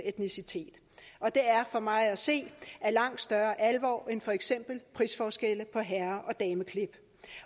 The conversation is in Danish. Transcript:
etnicitet og det er for mig at se af langt større alvor end for eksempel prisforskelle på herre